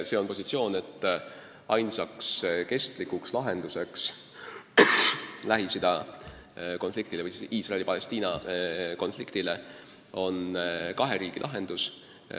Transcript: See on positsioon, et ainus kestlik lahendus Lähis-Ida konfliktile ehk siis Iisraeli-Palestiina konfliktile on kahe riigi lahendus.